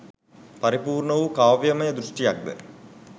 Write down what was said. පරිපූර්ණ වූ කාව්‍යම දෘෂ්ටියක් ද